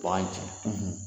ci